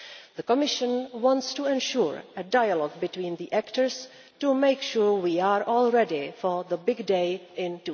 The Commission wants to ensure a dialogue between the actors to make sure we are all ready for the big day in